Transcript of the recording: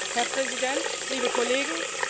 Herr Präsident, liebe Kollegen!